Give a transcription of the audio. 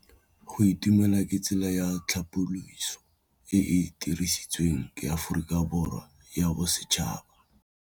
Go itumela ke tsela ya tlhapolisô e e dirisitsweng ke Aforika Borwa ya Bosetšhaba.